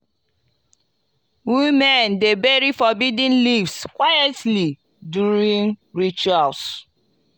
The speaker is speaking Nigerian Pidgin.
women dey bury forbidden leaves quietly during rituals.